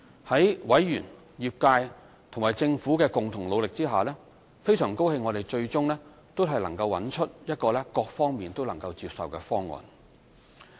在委員、業界和政府的共同努力下，我們很高興最終都能找到一個各方都能接受的方案。